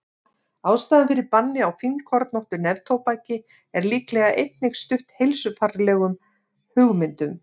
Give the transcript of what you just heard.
Ástæðan fyrir banni á fínkornóttu neftóbaki er líklega einnig stutt heilsufarslegum hugmyndum.